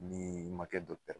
Ni ma kɛ d